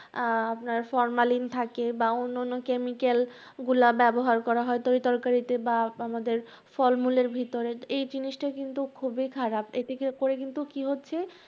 আহ আপনার ফরমালিন থাকে বা অন্যান্য chemical গুলা ব্যাবহার করা হয় তরিতরকারিতে বা আমাদের ফলমূলের ভিতরে, এই জিনিসটা কিন্তু খুবই খারাপ, এতে করে কিন্তু কি হচ্ছে